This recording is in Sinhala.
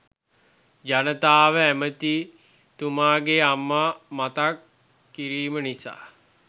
ජනතාව ඇමති තුමාගේ අම්මා මතක් කිරීම නිසා